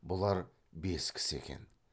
бұлар бес кісі екен